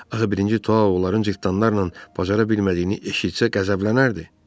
Axı birinci Tao onların cırtanlarla bacara bilmədiyini eşitsə qəzəblənərdi.